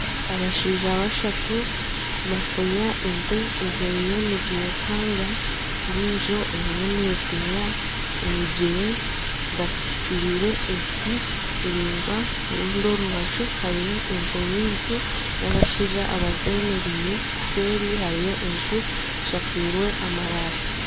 Abashaija bashutu nibafunya ente eziriyo nizirukanga endiijo eriyo neeteera emigyere bazitireire ebiti biringwa orundi orubaju hariyo ente nyingi n'abashaija abazemereire. Eseeri hariyo enju eshakize amabaati.